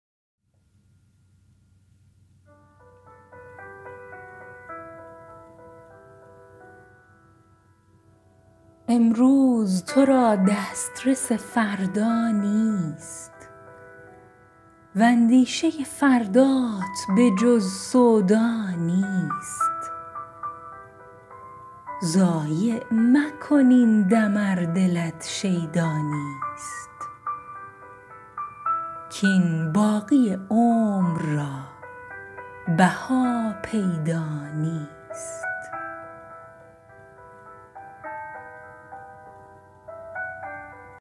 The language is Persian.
امروز تو را دسترس فردا نیست واندیشه فردات به جز سودا نیست ضایع مکن این دم ار دلت شیدا نیست کاین باقی عمر را بها پیدا نیست